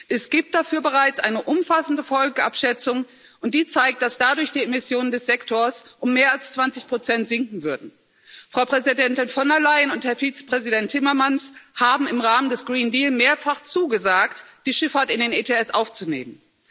Es gibt dafür bereits eine umfassende Folgeabschätzung, und die zeigt, dass dadurch die Emissionen des Sektors um mehr als zwanzig Prozent sinken würden. Frau Präsidentin von der Leyen und Herr Vize Präsident Timmermans haben im Rahmen des Green Deal mehrfach zugesagt, die Schifffahrt in den ETS aufzunehmen.